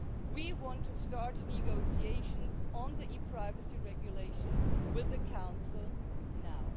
We want to start negotiations on the e privacy regulation with the Council now.